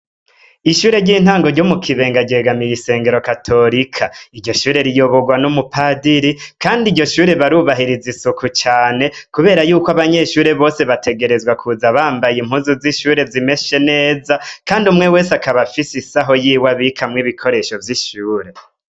Ishure ry'intango ryo mukibenga ryegamiye Ishengero katorika iryo shure riyobirwa numupatiri kandi iryo shure rirubahiriza isuku cane kubera yuko bategerezwa kuza bambaye impuzu zishure zimeshe neza kandi umwe wese akaza yifitiyr agasaho abikamwo ibikoresho vyishure.